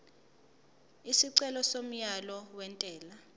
isicelo somyalo wentela